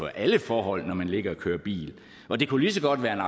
alle forhold når man ligger og kører bil og det kunne lige så godt være